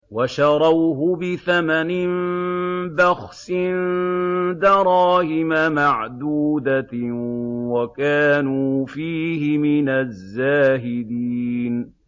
وَشَرَوْهُ بِثَمَنٍ بَخْسٍ دَرَاهِمَ مَعْدُودَةٍ وَكَانُوا فِيهِ مِنَ الزَّاهِدِينَ